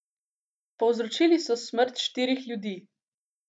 Povzročili so smrt štirih ljudi.